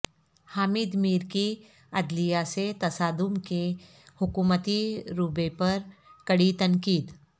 حامد میر کی عدلیہ سے تصادم کے حکومتی رویے پر کڑی تنقید